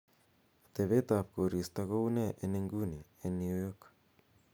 atebtab koristo koune en inguni en new york